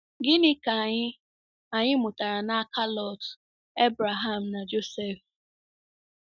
Gịnị ka anyị anyị mụtara n'aka Lọt, Ebreham, na Josef?